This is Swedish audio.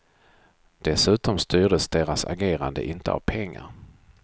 Dessutom styrdes deras agerande inte av pengar.